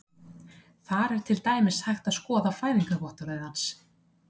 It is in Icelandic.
Þar er til dæmis hægt að skoða fæðingarvottorðið hans.